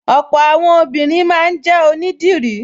Ọ̀pọ̀ àwọn obìnrin máa ń jẹ́ onídìrí